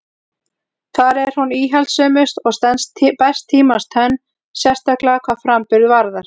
Þar er hún íhaldssömust og stenst best tímans tönn, sérstaklega hvað framburð varðar.